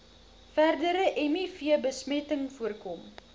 verdere mivbesmetting voorkom